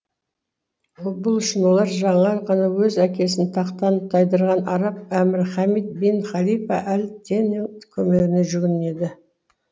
бұл үшін олар жаңа ғана өз әкесін тақтан тайдырған араб әмірі хамид бин халифа әл теннің көмегіне жүгінеді